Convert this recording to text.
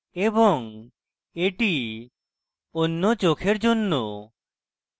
এবং এটি অন্য চোখের জন্য